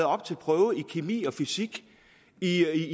op til prøve i kemi og fysik